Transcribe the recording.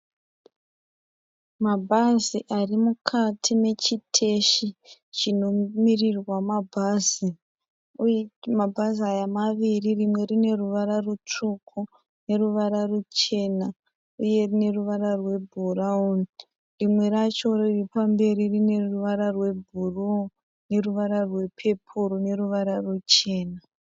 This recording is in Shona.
Mabhazi ari mukati mechiteshi chinomirirwa mabhazi uye mabhazi aya maviri. Rimwe rine ruvara rutsvuku neruvara ruchena uye rine ruvara rwebhurawuni. Rimwe racho riri pamberi rine ruvara rwebhuruu neruvara rwepepuru neruvara ruchena.